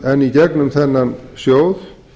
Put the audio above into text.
en í gegnum þennan sjóð